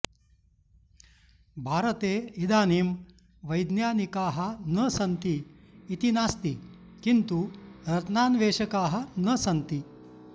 भारते इदानीं वैज्ञानिकाः न सन्ति इति नास्ति किन्तु रत्नान्वेषकाः न सन्ति